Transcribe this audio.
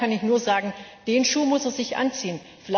Daher kann ich nur sagen Den Schuh muss er sich anziehen.